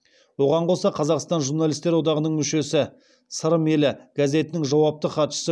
оған қоса қазақстан журналистер одағының мүшесі сырым елі газетінің жауапты хатшысы